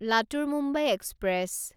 Latur Mumbai express